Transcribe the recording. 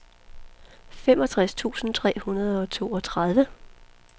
femogtres tusind tre hundrede og toogtredive